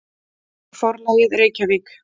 Forlagið: Reykjavík.